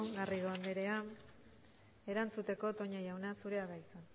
garrido anderea erantzuteko toña jauna zurea da hitza